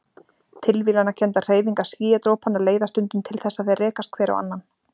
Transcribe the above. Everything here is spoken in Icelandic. Tilviljanakenndar hreyfingar skýjadropanna leiða stundum til þess að þeir rekast hver á annan.